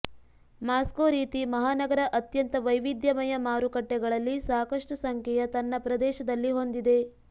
Moscow ರೀತಿ ಮಹಾನಗರ ಅತ್ಯಂತ ವೈವಿಧ್ಯಮಯ ಮಾರುಕಟ್ಟೆಗಳಲ್ಲಿ ಸಾಕಷ್ಟು ಸಂಖ್ಯೆಯ ತನ್ನ ಪ್ರದೇಶದಲ್ಲಿ ಹೊಂದಿದೆ